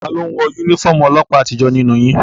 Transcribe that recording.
Taló n wọ yúnífọ́ọ̀mù ọlọ́ọ̀pá àtijó nínú yín?